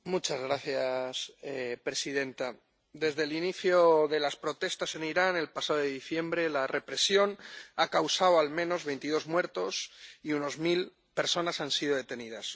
Señora presidenta, desde el inicio de las protestas en Irán el pasado diciembre, la represión ha causado al menos veintidós muertos, y unas mil personas han sido detenidas